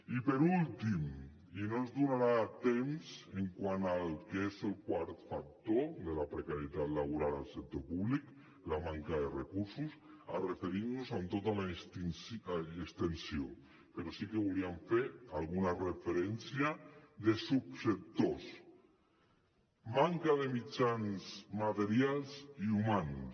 i per últim i no ens donarà temps quant al que és el quart factor de la precarietat laboral al sector públic la manca de recursos a referir nos hi en tota l’extensió però sí que volíem fer alguna referència a subsectors manca de mitjans materials i humans